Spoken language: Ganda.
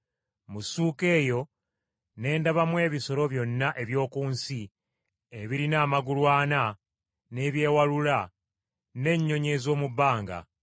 Mu ssuuka eyo ne ndabamu ebisolo byonna eby’oku nsi ebirina amagulu ana, n’ebyewalula, n’ennyonyi ez’omu bbanga.